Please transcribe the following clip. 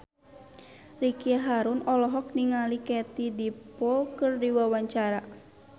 Ricky Harun olohok ningali Katie Dippold keur diwawancara